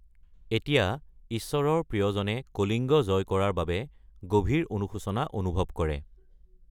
এতিয়া ঈশ্বৰৰ প্ৰিয়জনে কলিংগ জয় কৰাৰ বাবে গভীৰ অনুশোচনা অনুভৱ কৰে।